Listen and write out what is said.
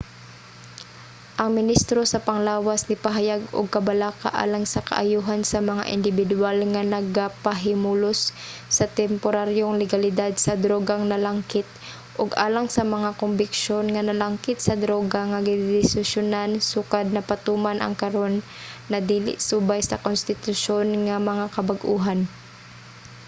ang ministro sa panglawas nipahayag og kabalaka alang sa kaayohan sa mga indibidwal nga nagapahimulos sa temporaryong legalidad sa drogang nalangkit ug alang sa mga kombiksyon nga nalangkit sa droga nga gidesisyonan sukad napatuman ang karon na dili subay sa konstitusyon nga mga kabag-ohan